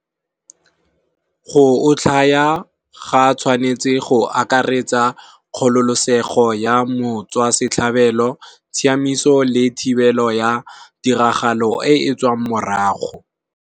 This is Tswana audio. Go otlhaya ga tshwanetse go akaretsa kgololosego ya motswasetlhabelo tshiamiso le thibelo ya tiragalo e e tswang morago.